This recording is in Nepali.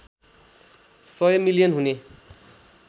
१०० मिलियन हुने